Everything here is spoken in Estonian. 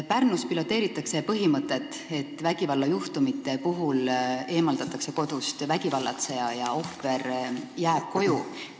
Pärnus piloteeritakse põhimõtet, et vägivallajuhtumi korral eemaldatakse kodust vägivallatseja ja ohver jääb koju.